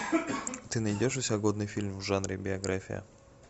ты найдешь у себя годный фильм в жанре биография